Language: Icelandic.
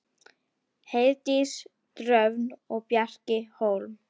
Heiðdís Dröfn og Bjarki Hólm.